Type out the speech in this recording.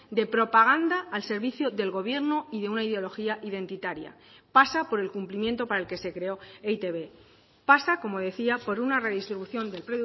de propaganda al servicio del gobierno y de una ideología identitaria pasa por el cumplimiento para el que se creó e i te be pasa como decía por una redistribución del